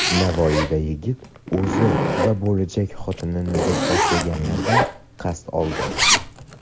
Navoiyda yigit o‘zi va bo‘lajak xotinini do‘pposlaganlardan qasd oldi.